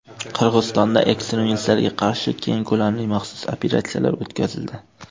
Qirg‘izistonda ekstremistlarga qarshi keng ko‘lamli maxsus operatsiyalar o‘tkazildi.